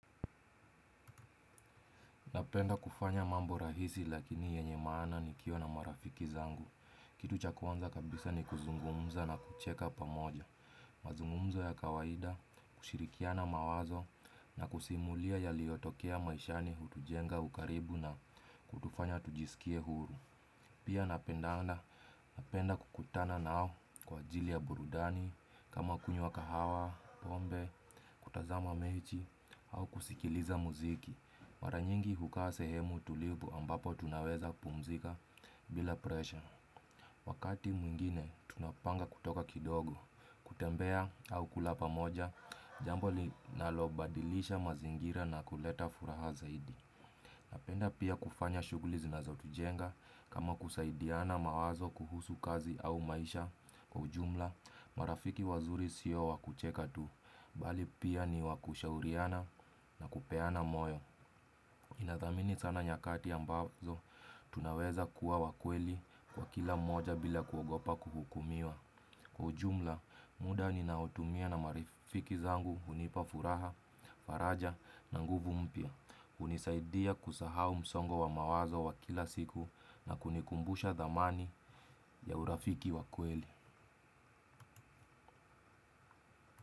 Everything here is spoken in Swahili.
Napenda kufanya mambo rahisi lakini yenye maana nikiwa na marafiki zangu. Kitu cha kwanza kabisa ni kuzungumza na kucheka pamoja. Mazungumzo ya kawaida, kushirikiana mawazo na kusimulia yaliyotokea maishani hutujenga ukaribu na kutufanya tujisikie huru. Pia napenda anda napenda kukutana nao kwa ajili ya burudani kama kunywa kahawa, pombe, kutazama mechi au kusikiliza muziki. Maranyingi hukaa sehemu tulivu ambapo tunaweza pumzika bila presha. Wakati mwingine tunapanga kutoka kidogo, kutembea au kula pamoja jambo linalobadilisha mazingira na kuleta furaha zaidi. Napenda pia kufanya shughuli zinazotujenga kama kusaidiana mawazo kuhusu kazi au maisha. Kwa ujumla marafiki wazuri si wa kucheka tu bali ni wa kushauriana na kupeana moyo. Inathamini sana nyakati ambazo tunaweza kuwa wa kweli kwa kila moja bila kuogopa kuhukumiwa. Kwa ujumla, muda ninaotumia na marifiki zangu hunipa furaha, faraja na nguvu mpya. Hunisaidia kusahau msongo wa mawazo wa kila siku na kunikumbusha dhamana ya urafiki wa kweli.